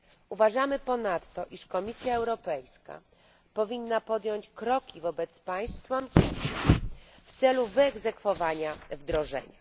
Uważamy ponadto, iż Komisja Europejska powinna podjąć kroki wobec państw członkowskich w celu wyegzekwowania wdrożenia.